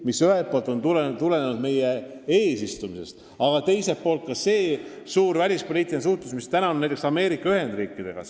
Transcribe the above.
Tõsi, ühelt poolt on see tulenenud meie eesistumisest, aga me oleme tihedalt suhelnud ka näiteks Ameerika Ühendriikidega.